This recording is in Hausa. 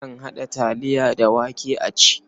Akan haɗa taliya da wake a ci.